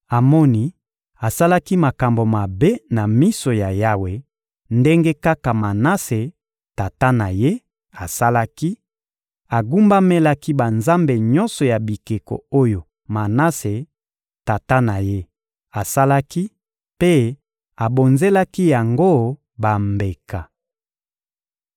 Amoni asalaki makambo mabe na miso ya Yawe, ndenge kaka Manase, tata na ye, asalaki; agumbamelaki banzambe nyonso ya bikeko oyo Manase, tata na ye, asalaki mpe abonzelaki yango bambeka.